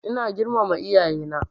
Ina girmama iyaye na